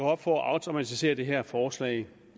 op for at afdramatisere det her forslag